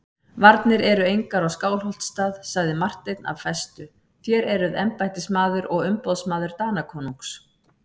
Varnir eru engar á Skálholtsstað, sagði Marteinn af festu,-þér eruð embættismaður og umboðsmaður Danakonungs.